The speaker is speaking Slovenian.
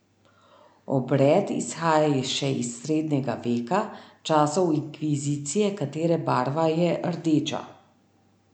Obred izhaja še iz srednjega veka, časov inkvizicije, katere barva je rdeča.